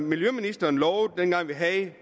miljøministeren lovede dengang vi